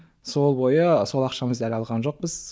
сол бойы сол ақшамызды әлі алған жоқпыз